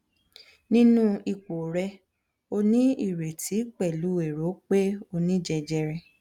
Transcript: ninu ipo re o ni ireti pelu ero pe oni jejere